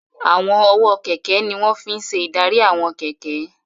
Àwọn ọwọ́ kẹ̀kẹ́ ní wọ́n fi n ṣe ìdarí àwọn kẹ̀kẹ́